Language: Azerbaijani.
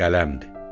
Qələmdir.